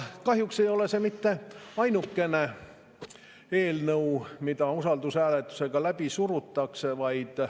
Kahjuks ei ole see mitte ainukene eelnõu, mida usaldushääletusega läbi surutakse.